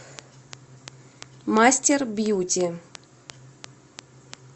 мастербьюти